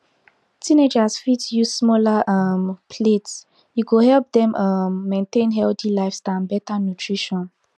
teenagers fit use smaller um plates e go help dem um maintain healthy lifestyle and better nutrition